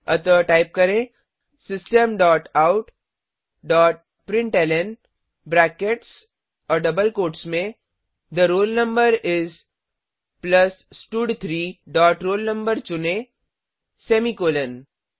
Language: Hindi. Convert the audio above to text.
अतः टाइप करें system dot out dot println brackets और डबल कोट्स में थे roll no इस प्लस स्टड3 डॉट roll no चुनें सेमीकॉलन